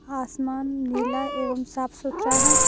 आसमान नीला एवं साफ सुथरा है।